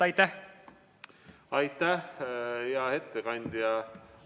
Aitäh, hea ettekandja!